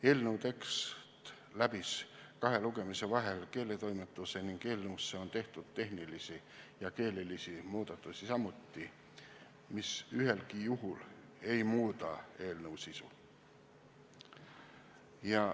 Eelnõu tekst läbis kahe lugemisel vahel keeletoimetuse ning eelnõusse on tehtud tehnilisi ja keelelisi muudatusi, mis ühelgi juhul ei muuda eelnõu sisu.